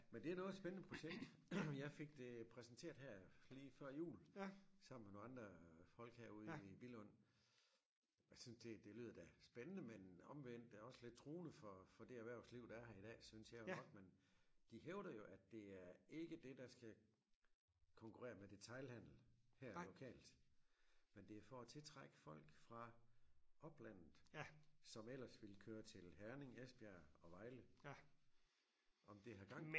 Men det noget af et spændende projekt som jeg fik det præsenteret her lige før jul sammen med nogle andre folk herude i Billund jeg syntes det det lyder da spændende men omvendt det også lidt truende for for det erhvervsliv der er her i dag synes jeg jo nok men de hævder jo at det er ikke det der skal konkurrere med detailhandel her lokalt men det er for at tiltrække folk fra oplandet som ellers ville køre til Herning Esbjerg og Vejle om det har gang